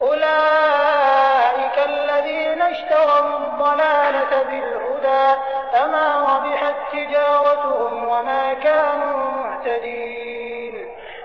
أُولَٰئِكَ الَّذِينَ اشْتَرَوُا الضَّلَالَةَ بِالْهُدَىٰ فَمَا رَبِحَت تِّجَارَتُهُمْ وَمَا كَانُوا مُهْتَدِينَ